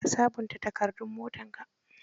Ka sabunta takardun motarka?